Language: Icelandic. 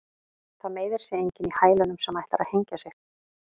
Það meiðir sig enginn í hælunum sem ætlar að hengja sig.